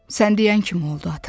Sən deyən kimi oldu, ata.